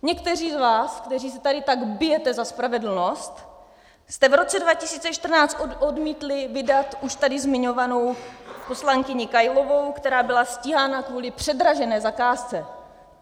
Někteří z vás, kteří se tady tak bijete za spravedlnost, jste v roce 2014 odmítli vydat už tady zmiňovanou poslankyni Kailovou, která byla stíhána kvůli předražené zakázce.